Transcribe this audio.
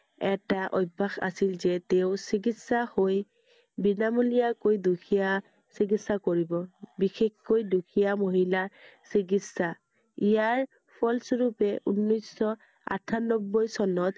এটা অভ্য়াস আছিল যে, তেওঁ চিকিৎসা হৈ বিনামূলীয়া কৈ দুখীয়া চিকিৎসা কৰিব। বিশেষকৈ দুখীয়া মহিলা চিকিৎসা। ইয়াৰ ফলস্বৰূপে ঊনৈছ শ আঠানব্বৈ চনত